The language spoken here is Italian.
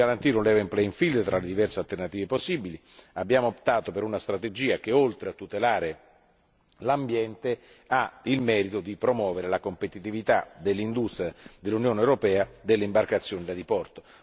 Per garantire un profilo bilanciato tra le diverse alternative possibili, abbiamo optato per una strategia che, oltre a tutelare l'ambiente, ha il merito di promuovere la competitività dell'industria dell'Unione europea delle imbarcazioni da diporto.